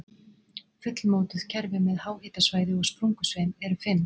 Fullmótuð kerfi með háhitasvæði og sprungusveim eru fimm.